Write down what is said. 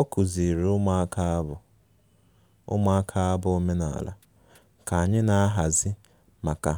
Ọ kụziiri ụmụaka abụ ụmụaka abụ omenala ka anyị na-ahazi maka